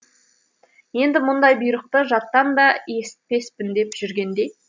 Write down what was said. енді мұндай бұйрықты жаттан да есітпеспін деп жүргенде